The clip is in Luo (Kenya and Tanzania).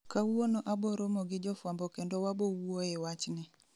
Kawuono aboromo gi jofwambo kendo wabowuoye wachni